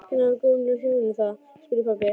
Hvernig hafa svo gömlu hjónin það? spurði pabbi.